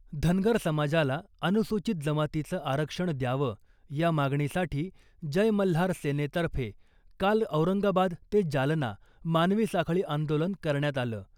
धनगर समाजाला अनुसूचीत जमातीचं आरक्षण द्यावं , या मागणीसाठी जय मल्हार सेनेतर्फे काल औरंगाबाद ते जालना मानवी साखळी आंदोलन करण्यात आलं .